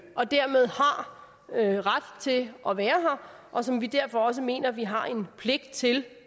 og dermed har ret til at være her og som vi derfor også mener at vi har en pligt til